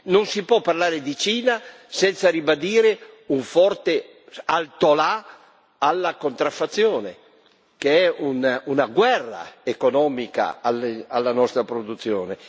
Non si può parlare di Cina senza ribadire un forte altolà alla contraffazione, che è una guerra economica alla nostra produzione.